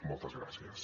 moltes gràcies